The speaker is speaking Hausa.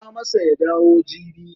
Faɗa masa ya dawo jibi.